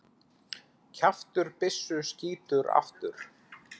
Kjaftur byssu skýtur aftur.